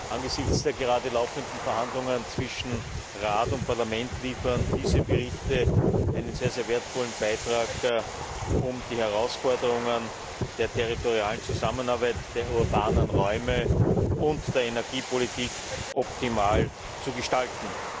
Angesichts der gerade laufenden Verhandlungen zwischen Rat und Parlament liefern diese Berichte einen sehr wertvollen Beitrag, um die Herausforderungen der territorialen Zusammenarbeit, der urbanen Räume und der Energiepolitik optimal zu gestalten.